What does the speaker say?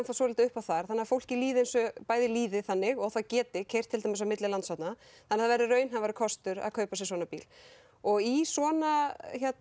svolítið upp á þar þannig fólki líði líði þannig og það geti keyrt til dæmis á milli landshorna þannig það verði raunhæfari kostur að kaupa sér svona bíl og í svona